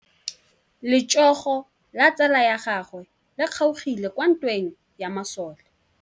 Letsôgô la tsala ya gagwe le kgaogile kwa ntweng ya masole.